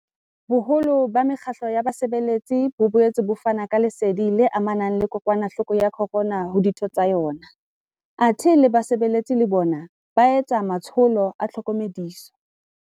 Boholo ba mekgatlo ya basebetsi bo boetse bo fana ka lesedi le amanang le kokwanahloko ya corona ho ditho tsa yona, athe le basebetsi le bona ba etsa matsholo a tlhokomediso.